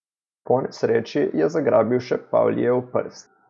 Po nesreči je zagrabil še Pavlijev prst.